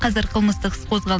қазір қылмыстық іс қозғалды